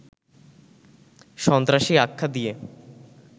সন্ত্রাসী আখ্যা দিয়ে